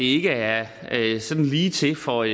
ikke er sådan lige til for